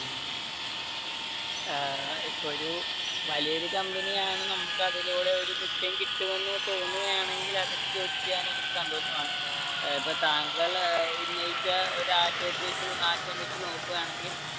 ഏർ ഇപ്പൊ ഒരു വലിയ ഒരു company യാണ് നമുക്ക് അതിലൂടെ ഒരു മിച്ചം കിട്ടുമെന്ന് തോന്നുകയാണെങ്കിൽ അതിൽ ജോലി ചെയ്യാൻ എനിക്ക് സന്തോഷമാണ്. ഇപ്പൊ താങ്കൾ ഉന്നയിച്ച ഒരു ആശയത്തെ~ആശയം വെച്ച് നോക്കുവാണെങ്കിൽ